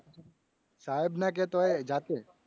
સાહેબ ના કહેતો હોય જાતે.